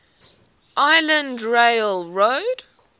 island rail road